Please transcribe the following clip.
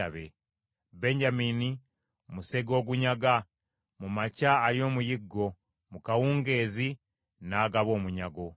Benyamini musege ogunyaga, mu makya alya omuyiggo, mu kawungeezi n’agaba omunyago.